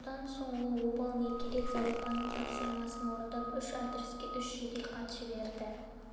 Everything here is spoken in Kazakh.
содан соң ол обалы не керек зәрипаның тапсырмасын орындап үш адреске үш жеделхат жіберді